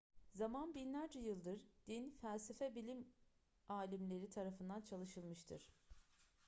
zaman binlerce yıldır din felsefe ve bilim alimleri tarafından çalışılmıştır